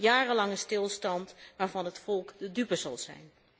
Jarenlange stilstand waarvan het volk de dupe zal zijn.